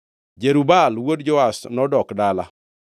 Jerub-Baal wuod Joash nodok dala.